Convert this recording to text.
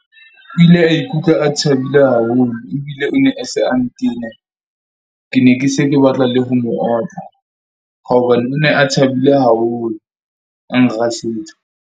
O ile a ikutlwa a thabile haholo ebile o ne a se a ntena. Ke ne ke se ke batla le ho mo otla hore nne a thabile haholo, a nrasetsa.